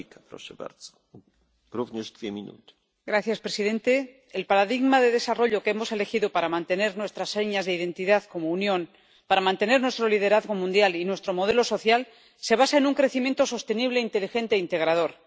Señor presidente, el paradigma de desarrollo que hemos elegido para mantener nuestras señas de identidad como Unión, para mantener nuestro liderazgo mundial y nuestro modelo social, se basa en un crecimiento sostenible, inteligente e integrador.